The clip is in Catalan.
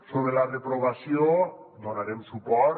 sobre la reprovació hi donarem suport